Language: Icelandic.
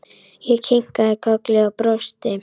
Ég kinkaði kolli og brosti.